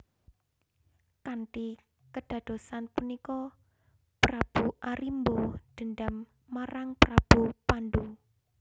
Kanthi kedadosan punika Prabu Arimba dendam marang Prabu Pandu